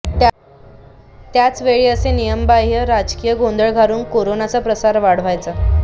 त्याच वेळी असे नियमबाहय़ राजकीय गोंधळ घालून कोरोनाचा प्रसार वाढवायचा